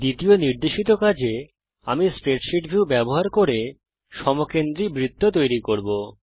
দ্বিতীয় নির্দেশিত কাজে আমরা স্প্রেডশীট ভিউ ব্যবহার করে সমকেন্দ্রি বৃত্ত তৈরি করব